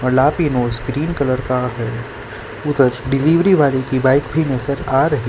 cream colour का है उधर डिलीवरी वाले की बाइक भी नजर आ रही --